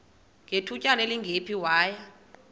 ngethutyana elingephi waya